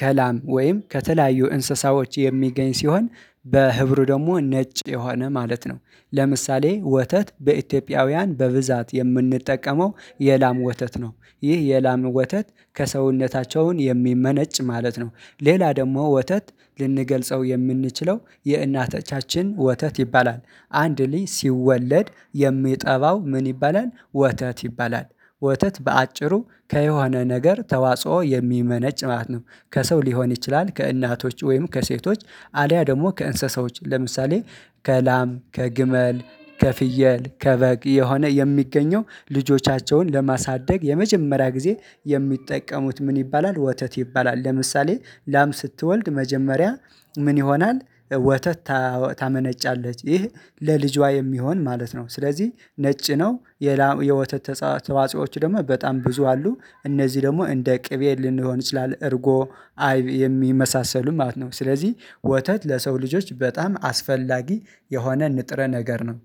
ከላም ወይም ከተለያዩ እንስሳዎች የሚገኝ ሲሆን በህብሩ ደግሞ ነጭ የሆነ ማለት ነው። ለምሳሌ ወተት በኢትዮጵያውያን በብዛት የምንጠቀመው የላም ወተት ነው ይህ የላም ወተት ከሰውነታቸውን የሚመነጭ ማለት ነው። ሌላ ደግሞ ወተት ልንገልጸው የምንችለው የእናቶቻችን ወተት ይባላል። አንድ ልጅ ሲወለድ የሚጠባው ምን ይባላል? ወተት ይባላል። ወተት በአጭሩ ከየሆነ ነገር ተዋጽኦ የሚመነጭ ማለት ነው። ከሰው ሊሆን ይችላል ከእናቶች ወይም ከሴቶች አሊያ ደግሞ ከእንስሳዎች ለምሳሌ ከላም ከግመል ከፍየል ከበግ የሆነ የሚገኘው ልጆቻቸውን ለማሳደግ የመጀመሪያ ጊዜ የሚጠቀሙት ምን ይባላል ወተት ይባላል። ለምሳሌ ላም ስትወልድ መጀመሪያ ምን ይሆናል? ወተት ታመነጫለች ይህ ለልጇ የሚሆን ማለት ነው ስለዚህ ነጭ ነው። የወተት ተጻ ተዋጽኦዎች ደግሞ በጣም ብዙ አሉ። እነዚህ ደግሞ እንደ ቅቤ ልንሆን ይችላል እርጎ አይብ የሚመሳሰሉ ማለት ነው። ስለዚህ ወተት ለሰው ልጆች በጣም አስፈላጊ የሆነ ንጥረ ነገር ነው።